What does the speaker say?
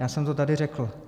Já jsem to tady řekl.